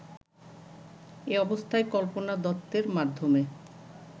এ অবস্থায় কল্পনা দত্তের মাধ্যমে